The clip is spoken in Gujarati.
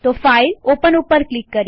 ફાઈલ gt ઓપન ઉપર ક્લિક કરીએ